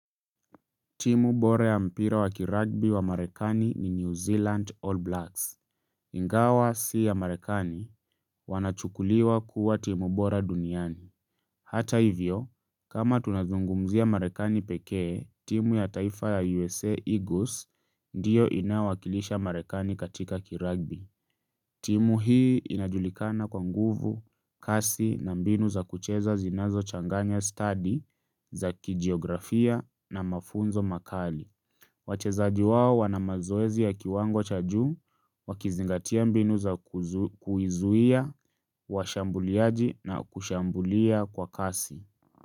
Timu bora ya mpira wa kiragbi wa marekani ni New Zealand All Blacks. Ingawa si ya marekani wanachukuliwa kuwa timu bora duniani. Hata hivyo, kama tunazungumzia marekani pekee, timu ya taifa ya USA Eagles ndiyo inaowakilisha Marekani katika kiragbi. Timu hii inajulikana kwa nguvu, kasi na mbinu za kucheza zinazo changanya study za kijiografia na mafunzo makali. Wachezaji wao wanamazoezi ya kiwango cha juu, wakizingatia mbinu za kuizuia, washambuliaji na kushambulia kwa kasi.